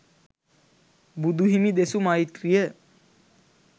බුදුහිමි දෙසු මෛත්‍රිය